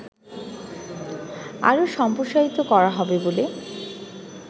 আরো সম্প্রসারিত করা হবে বলে